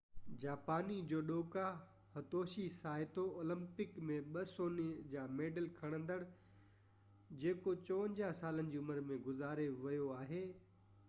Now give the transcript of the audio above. جاپاني جوڊوڪا Hitoshi Saito Olympic ۾ ٻہ سوني جا ميڊل کٽيندڙ جيڪو 54 سالن جي عمر ۾ گذاري ويو آهي